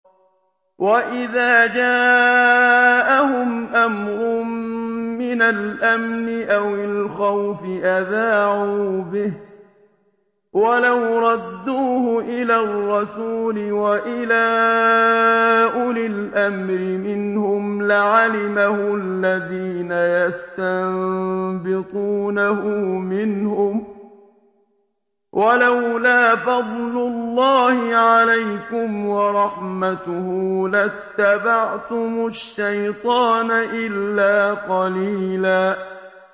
وَإِذَا جَاءَهُمْ أَمْرٌ مِّنَ الْأَمْنِ أَوِ الْخَوْفِ أَذَاعُوا بِهِ ۖ وَلَوْ رَدُّوهُ إِلَى الرَّسُولِ وَإِلَىٰ أُولِي الْأَمْرِ مِنْهُمْ لَعَلِمَهُ الَّذِينَ يَسْتَنبِطُونَهُ مِنْهُمْ ۗ وَلَوْلَا فَضْلُ اللَّهِ عَلَيْكُمْ وَرَحْمَتُهُ لَاتَّبَعْتُمُ الشَّيْطَانَ إِلَّا قَلِيلًا